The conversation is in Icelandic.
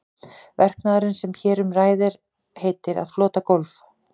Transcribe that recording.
Verknaðurinn sem hér um ræður heitir að flota gólf.